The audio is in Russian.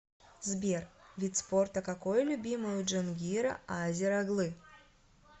сбер вид спорта какое любимое у джангира азер оглы